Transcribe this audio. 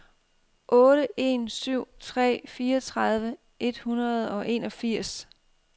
otte en syv tre fireogtredive et hundrede og enogfirs